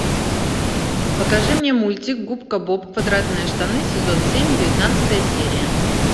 покажи мне мультик губка боб квадратные штаны сезон семь девятнадцатая серия